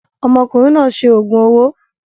Ọmọkùnrin náà ṣe òògùn owó.